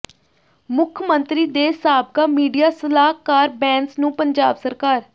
ਮੁੱਖ ਮੰਤਰੀ ਦੇ ਸਾਬਕਾ ਮੀਡੀਆ ਸਲਾਹਕਾਰ ਬੈਂਸ ਨੂੰ ਪੰਜਾਬ ਸਰਕਾਰ